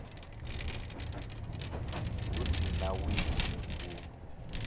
hu si na wili u